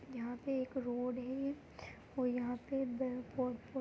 यहाँ पे एक रोड है और यहाँ पे बै--